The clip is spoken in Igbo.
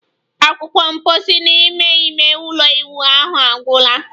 Akwukwo mposi n'ime ime ụlọ ịwụ ahụ agwụla